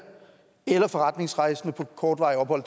eller forretningsrejsende på kortvarigt ophold